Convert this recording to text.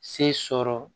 Se sɔrɔ